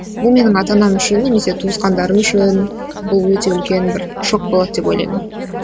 бұл менің ата анам үшін немесе туысқандарым үшін бұл өте үлкен бір шок болады деп ойлаймын